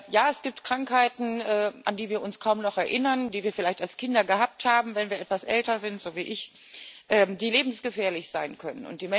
Ja, es gibt Krankheiten, an die wir uns kaum noch erinnern, die wir vielleicht als Kinder gehabt haben, die, wenn wir etwas älter sind so wie ich lebensgefährlich sein können.